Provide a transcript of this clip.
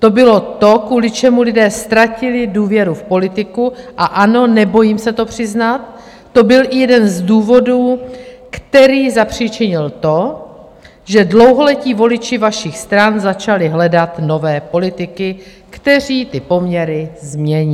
To bylo to, kvůli čemu lidé ztratili důvěru v politiku, a ano, nebojím se to přiznat, to byl i jeden z důvodů, který zapříčinil to, že dlouholetí voliči vašich stran začali hledat nové politiky, kteří ty poměry změní.